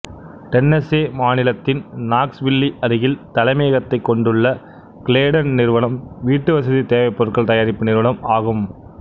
Tennessee மாநிலத்தின் Knoxville அருகில் தலைமையகத்தைக் கொண்டுள்ள கிளேடன் நிறுவனம் வீட்டுவசதித் தேவைப் பொருட்கள் தயாரிப்பு நிறுவனம் ஆகும்